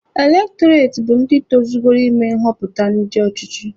Elektọreti bụ ndị tozugoro ịme nghọpụta ndị ọchịchị.